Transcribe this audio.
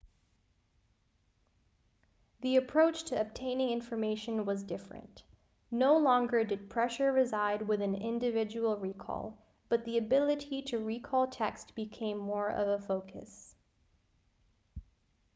the approach to obtaining information was different no longer did pressure reside within individual recall but the ability to recall text became more of a focus